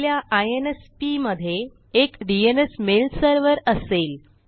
आपल्या आयएनएसपी मधे एक डीएनएस मेल सर्व्हर असेल